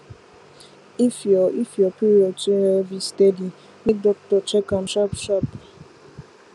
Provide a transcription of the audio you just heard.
if your if your period too heavy steady make doctor check am sharp sharp